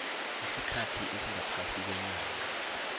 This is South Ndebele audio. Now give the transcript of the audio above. isikhathi esingaphasi kweenyanga